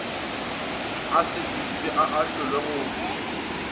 a sekišwe a ahlolwe go